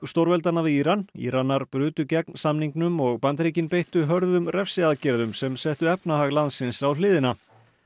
stórveldanna við Íran Íranar brutu gegn samningnum og Bandaríkin beittu hörðum refsiaðgerðum sem settu efnahag landsins á hliðina